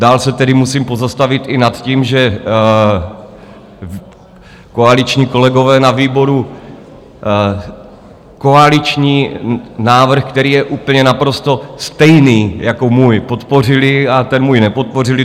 Dál se tedy musím pozastavit i nad tím, že koaliční kolegové na výboru koaliční návrh, který je úplně naprosto stejný jako můj, podpořili a ten můj nepodpořili.